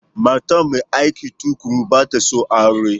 Matar mai aiki tuƙuru ba ta son aure.